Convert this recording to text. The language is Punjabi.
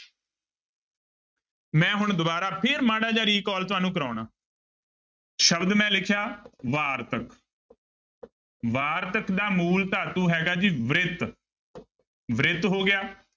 ਮੈਂ ਹੁਣ ਦੁਬਾਰਾ ਫਿਰ ਮਾੜਾ ਜਿਹਾ recall ਤੁਹਾਨੂੰ ਕਰਵਾਉਣਾ ਸ਼ਬਦ ਮੈਂ ਲਿਖਿਆ ਵਾਰਤਕ ਵਾਰਤਕ ਦਾ ਮੂਲ ਧਾਤੂ ਹੈਗਾ ਜੀ ਬ੍ਰਿਤ ਬ੍ਰਿਤ ਹੋ ਗਿਆ।